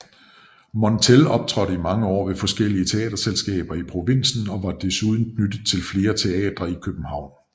Montell optrådte i mange år ved forskellige teaterselskaber i provinsen og var desuden knyttet til flere teatre i København